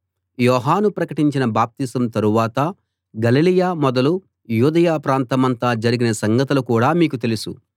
యోహాను ప్రకటించిన బాప్తిసం తరువాత గలిలయ మొదలు యూదయ ప్రాంతమంతా జరిగిన సంగతులు కూడా మీకు తెలుసు